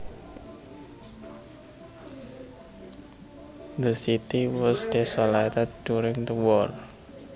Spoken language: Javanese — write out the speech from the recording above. The city was desolated during the war